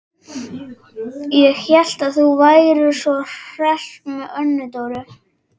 Ég hélt að þú værir svo hress með Önnu Dóru.